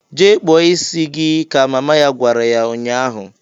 "Jee kpụọ isi gi!"ka mama ya gwara ya nnya ahụ.